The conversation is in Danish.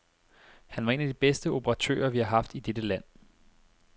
Han var en af de bedste operatører, vi har haft i dette land.